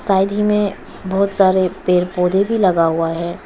Side ही में बहुत सारे पेड़ पौधे भी लगा हुआ है।